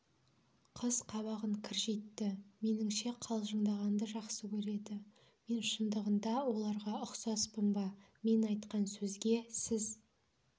қыз қабағын кіржитті меніңше қалжыңдағанды жақсы көреді мен шындығында оларға ұқсаспын ба мен айтқан сөзге сіз